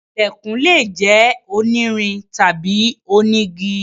Ilẹ̀kùn lè jẹ́ onírin tàbí onígi.